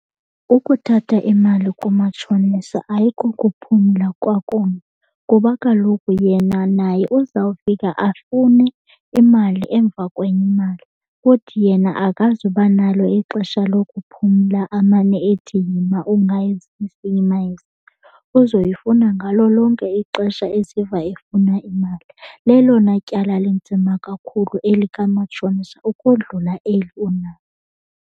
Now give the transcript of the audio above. Ukuthatha imali kumatshonisa ayiko kuphumla kwakunye kuba kaloku yena naye uzawufika afune imali emva kwenye imali. Futhi yena akazuba nalo ixesha lokuphumla amane ethi yima ungayizisi, yima yizise, uzoyifuna ngalo lonke ixesha eziva efuna imali. Lelona tyala linzima kakhulu elikamatshonisa ukodlula eli unalo.